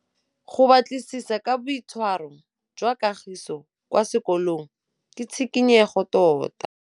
Go batlisisa ka boitshwaro jwa Kagiso kwa sekolong ke tshikinyêgô tota.